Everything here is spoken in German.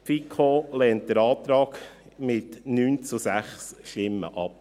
Die FiKo lehnt den Antrag mit 9 zu 6 Stimmen ab.